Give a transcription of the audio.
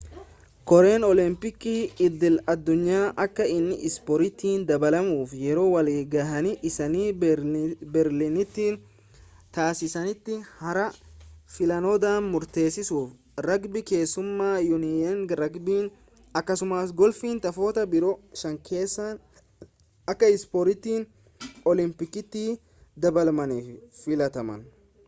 koreen oolompikii idil-addunyaa akka inni ispoortitti dabalamuuf yeroo wal ga'ii isaanii beerliniiti taasisaanitti har'a filannoodhaan murteessaniiru ragbii keessumaa yuuniyeniin ragbii akkasumaas golfiin taphoota biroo shankeessaa akka ispoortii oolompikiitti dabalamaniif filataman